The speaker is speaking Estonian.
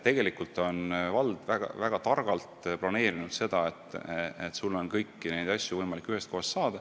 Vald on selle keskuse väga targalt planeerinud: sul on kõiki neid asju võimalik ühest kohast saada.